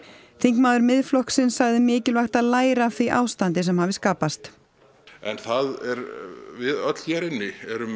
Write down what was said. þingmaður Miðflokksins sagði mikilvægt að læra af því ástandi sem hafi skapast við öll hér inni erum